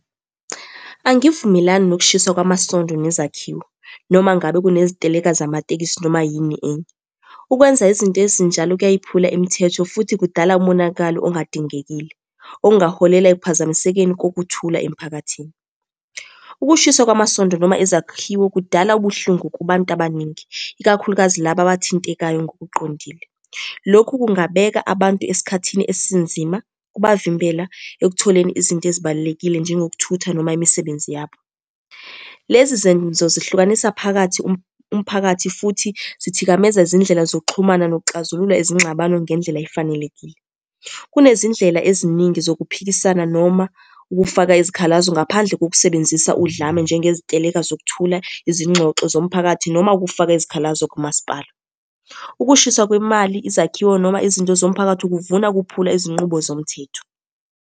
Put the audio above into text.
Angivumelani nokushiswa kwamasondo nezakhiwo, noma ngabe kuneziteleka zamatekisi noma yini enye. Ukwenza izinto ezinjalo kuyayiphula imithetho, futhi kudala umonakalo ongadingekile, okungaholela ekuphazamisekeni kokuthula emphakathini. Ukushiswa kwamasondo noma izakhiwo kudala ubuhlungu kubantu abaningi, ikakhulukazi laba abathintekayo ngokuqondile. Lokhu kungabeka abantu esikhathini esinzima, kubavimbela ekutholeni izinto ezibalulekile njengokuthutha noma imisebenzi yabo. Lezi zenzo zihlukanisa phakathi umphakathi, futhi zithikameza izindlela zokuxhumana nokuxazulula izingxabano ngendlela efanelekile. Kunezindlela eziningi zokuphikisana noma ukufaka izikhalazo ngaphandle kokusebenzisa udlame, njengeziteleka zokuthutha, izingxoxo zomphakathi, noma ukufaka izikhalazo kumasipala. Ukushiswa kwemali, izakhiwo noma izinto zomphakathi kuvuna ukuphula izinqubo zomthetho.